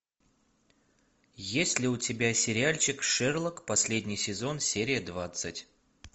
есть ли у тебя сериальчик шерлок последний сезон серия двадцать